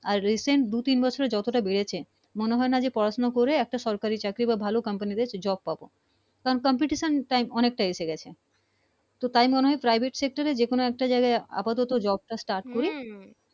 আর Recent আসলে যত টা বেড়েছে মনে হয় না পড়া শোনা করে সরকারি চাকরি বা ভালো Company তে Job পাবো কারন Competition টা অনেকটাই এসে গেছে তাই মনে হয় Private sector যে কোন একটা জায়গায় আপাতত Job Start করি